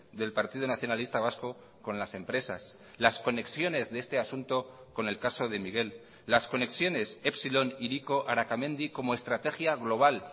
del partido nacionalista vasco con las empresas las conexiones de este asunto con el caso de miguel las conexiones epsilon hiriko arakamendi como estrategia global